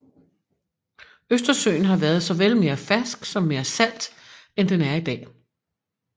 Østersøen har været såvel mere fersk som mere salt end den er i dag